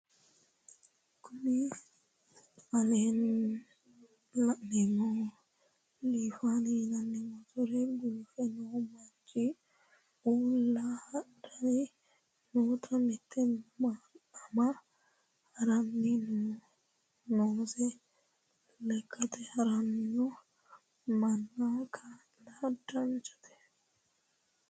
Kuni la'neemohu lifani yinayi motore gulufe noo manch uulla hadhayi noota mitte ama haranni noose lekkate haranno manna kaa'la danchate.